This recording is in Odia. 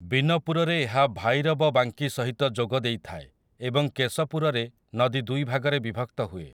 ବିନପୁରରେ ଏହା ଭାଇରବବାଙ୍କି ସହିତ ଯୋଗ ଦେଇଥାଏ, ଏବଂ କେଶପୁରରେ ନଦୀ ଦୁଇ ଭାଗରେ ବିଭକ୍ତ ହୁଏ ।